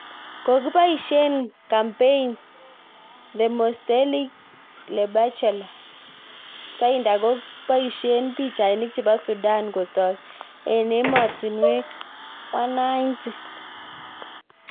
Kepoishei Kampeim #ThemosteligibleBachelor, Tinder kopoishei pichainik chepo Sudan kotok eng emotinwek 190